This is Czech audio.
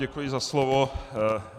Děkuji za slovo.